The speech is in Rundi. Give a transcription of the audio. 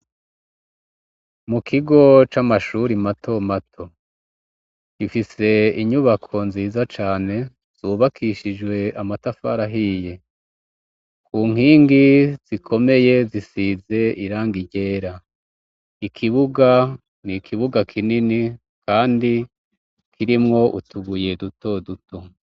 Mu kigo c'amashuri mato mato ifise inyubako nziza cane zubakishijwe amatafarahiye ku nkingi zikomeye zisize iranga irera ikibuga ni ikibuga kinini, kandi kirimwo utuguye dutoduto.